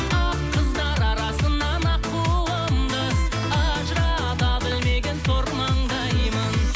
ақ қыздар арасынан аққуымды ажырата білмеген сор маңдаймын